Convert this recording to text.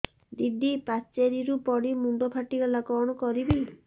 ଦିଦି ପାଚେରୀରୁ ପଡି ମୁଣ୍ଡ ଫାଟିଗଲା କଣ କରିବି